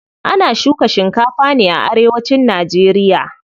Ana shuka shikafa ne a arewacin nageriya.